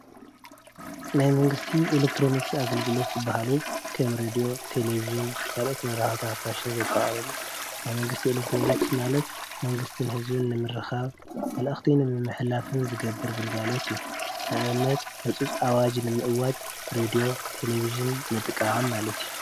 ናይ መንግስቲ ኤለክትሮኒክስ ኣገልግሎት ዝበሃሉ ከም ሬድዮ፣ ቴሌብጅን ካልኦት መራኸብቲ ሓፋሽን ዘጠቓለለ እዩ፡፡ ናይ መንግስቲ ኤለክትሮኒክስ ማለት መንግስትን ህዝብን ንምርኻብ መልእኽቲ ንምምሕላፍን ዝገብር ግልጋሎት እዩ፡፡ ንኣብነት ሕፁፅ ኣዋጅ ንምእዋጅ ሬድዮ፣ ቴሌብጅን ምጥቃም ማለት እዩ፡፡